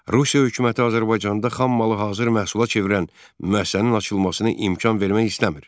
Rusiya hökuməti Azərbaycanda xammalı hazır məhsula çevirən müəssisənin açılmasına imkan vermək istəmir.